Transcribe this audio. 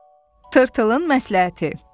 Tırtılın məsləhəti.